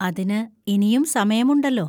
അതിന് ഇനിയും സമയമുണ്ടല്ലോ.